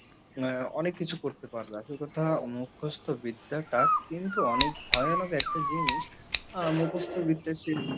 আহ অনেক কিছু করতে পারবে আসল কথা মুখস্ত বিদ্যাটা কিন্তু অনেক ভয়ানক একটা জিনিস আহ মুখস্ত বিদ্যা সেই